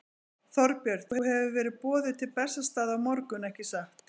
Þorbjörn: Þú hefur verið boðuð til Bessastaða á morgun, ekki satt?